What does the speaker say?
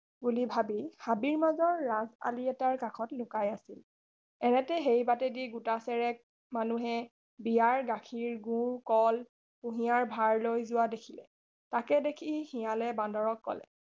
বুলি ভাবি হাবিৰ মাজৰ ৰাজ আলিৰ এটাৰ কাষত লুকাই আছিল এনেতে সেই বাটেদি গোটাচেৰেক মানুহে বিয়াৰ গাখীৰ গুৰ কল কুঁহিয়াৰ ভাৰলৈ যোৱা দেখিলে তাকে দেখি শিয়ালে বান্দৰক কলে